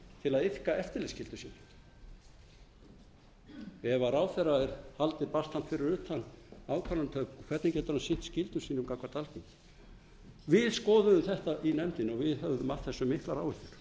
til að iðka eftirlitsskyldu sína ef ráðherra er haldið fyrir utan ákvarðanatöku hvernig getur hann sinnt skyldum sínum gagnvart alþingi við skoðuðum þetta í nefndinni og við höfðum af þessu miklar áhyggjur en